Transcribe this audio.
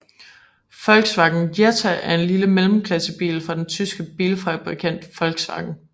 Volkswagen Jetta er en lille mellemklassebil fra den tyske bilfabrikant Volkswagen